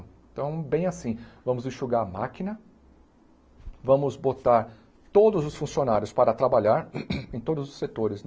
Então, bem assim, vamos enxugar a máquina, vamos botar todos os funcionários para trabalhar em todos os setores.